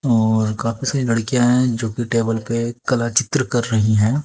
और काफी सारी लड़कियां हैं जोकि टेबल पे कला चित्र कर रही हैं।